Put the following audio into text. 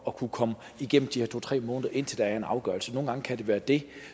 at kunne komme igennem de her to tre måneder indtil der kom en afgørelse nogle gange kan det være det